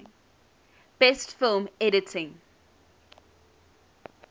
best film editing